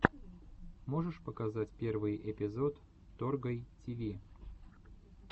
можешь показать первый эпизод торгай тиви